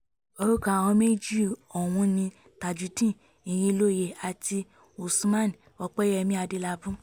orúkọ àwọn méjì ọ̀hún ni tajudeen irinlóye àti usman opẹyẹmí adélábù